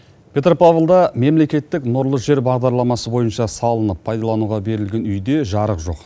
петропавлда мемлекеттік нұрлы жер бағдарламасы бойынша салынып пайдалануға берілген үйде жарық жоқ